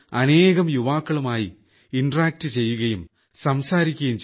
അനേകം യുവാക്കളുമായി ഇന്ററാക്ട് ചെയ്യുകയും സംസാരിക്കുകയും